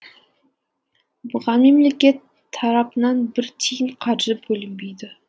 бұған мемлекет тарапынан бір тиын қаржы бөлінбейді